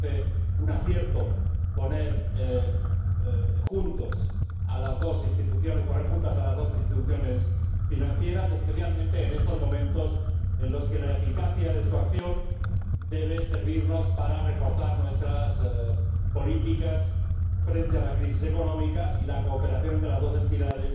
Nos parece un acierto poner juntas a las dos instituciones financieras, especialmente en estos momentos en los que la eficacia de su acción debe servir para reforzar nuestras políticas frente a la crisis económica, y la cooperación entre las dos entidades